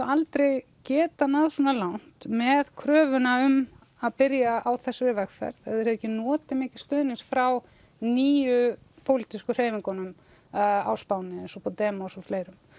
aldrei geta náð svona langt með kröfuna um að byrja á þessari vegferð ef þeir hefðu ekki notið mikils stuðnings frá nýju pólitísku hreyfingunum á Spáni eins og Bodema og fleirum